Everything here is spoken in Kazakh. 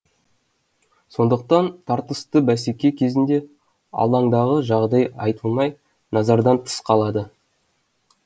сондықтан тартысты бәсеке кезінде алаңдағы жағдай айтылмай назардан тыс қалады